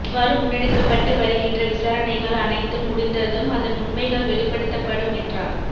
அவ்வாறு முன்னெடுக்கப்பட்டு வருகின்ற விசாரணைகள் அனைத்தும் முடிந்ததும் அதன் உண்மைகள் வெளிப்படுத்தப்படும் என்றார்இ